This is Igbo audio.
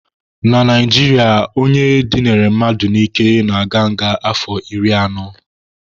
Na Naijiria, ndị dịnara mmadụ n'ike na-aga nga afọ iri na anọ.